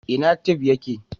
ina tef ya ke?